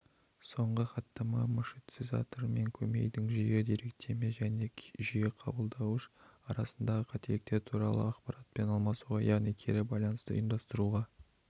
соңғы хаттама маршрутизатор мен көмейдың жүйе-деректеме және жүйе-қабылдауыш арасындағы қателіктер туралы ақпаратпен алмасуға яғни кері байланысты ұйымдастыруға